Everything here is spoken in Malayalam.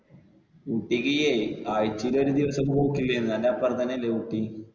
ഊട്ടിക്ക് ആഴ്ചേല് ഒരു ദിവസം പോക്കില്ലേ എന്ന്? അന്റെ അപ്പുറത്ത് തന്നെ അല്ലെ ഊട്ടി?